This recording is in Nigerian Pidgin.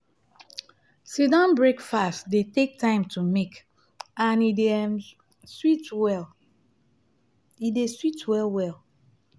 sit-down breakfast dey take time to make and e dey um sweet well e dey sweet well well